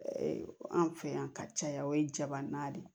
Anw fɛ yan ka caya o ye jabanan de ye